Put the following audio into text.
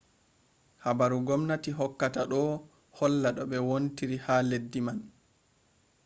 habaru gomnati hokkata ɗo holla no ɓe wontiri ha leddi man